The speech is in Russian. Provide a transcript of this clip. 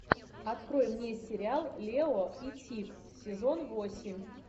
открой мне сериал лео и тиг сезон восемь